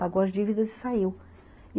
Pagou as dívidas e saiu.